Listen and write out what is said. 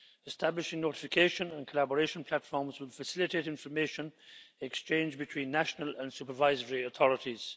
Establishing notification and collaboration platforms will facilitate information exchange between national and supervisory authorities.